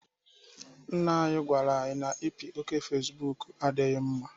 Nna anyị gwara anyị na ipi oké Fecibuuku adịghị mma.